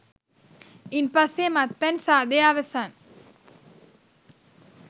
ඉන්පස්සේ මත්පැන් සාදය අවසන්